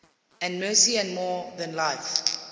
and mercy more than life